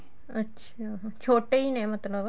ਅੱਛਾ ਛੋਟੇ ਈ ਨੇ ਮਤਲਬ